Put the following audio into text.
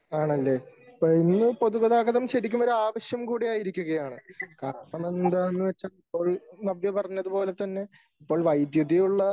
ആണല്ലെ ?ഇപ്പോ ഇന്നു പൊതുഗതാഗതം ശരിക്കും ഒരു ആവശ്യം കൂടി ആയിരിക്കുകയാണ് . കാരണം എന്താണു വച്ചാൽ ഇപ്പോൾ നവ്യ പറഞ്ഞത് പോലെ തന്നെ ഇപ്പോൾ വൈദ്യുതി ഉള്ള